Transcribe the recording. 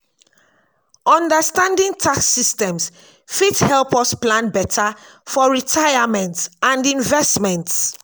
understanding tax systems fit help us plan beta for retirement and investments.